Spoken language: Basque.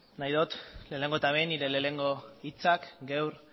nahi dot lehenengo eta behin nire lehenengo hitzak gaur